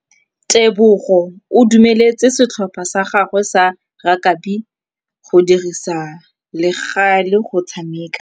Tebogô o dumeletse setlhopha sa gagwe sa rakabi go dirisa le galê go tshameka.